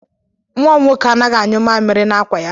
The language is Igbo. Nwa m nwoke anaghị anyụ mamịrị n'akwa ya.